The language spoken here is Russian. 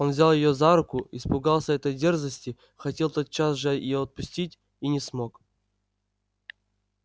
он взял её за руку испугался этой дерзости хотел тотчас же её отпустить и не смог